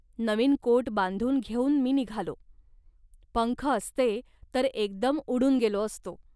नवीन coat बांधून घेऊन मी निघालो. पंख असते, तर एकदम उडून गेलो असतो